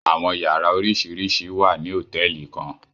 Awọn yara oriṣiriṣi wa ni hotẹẹli kan